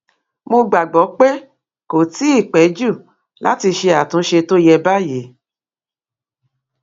mo gbàgbọ pé kò tí ì ì pẹ jù láti ṣe àtúnṣe tó yẹ báyìí